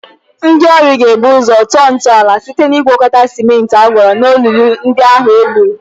Ndị ọrụ ga-ebu ụzọ tọọ ntọala ụlọ site iwunye sịmentị a gwakọtara ọnụ olulu ndị ahụ e gwuru.